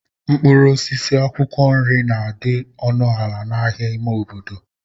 Mkpụrụ osisi na akwụkwọ nri na-adị ọnụ ala n'ahịa ime obodo.